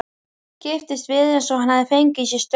Kipptist við eins og hann hefði fengið í sig straum.